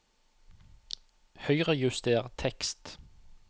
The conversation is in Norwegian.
Høyrejuster tekst